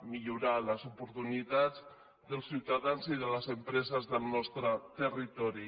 millorar les oportunitats dels ciutadans i de les empreses del nostre territori